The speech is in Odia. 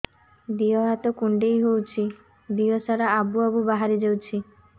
ଦିହ ହାତ କୁଣ୍ଡେଇ ହଉଛି ଦିହ ସାରା ଆବୁ ଆବୁ ବାହାରି ଯାଉଛି